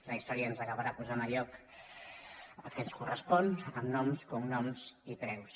la història ens acabarà posant al lloc que ens correspon amb noms cognoms i preus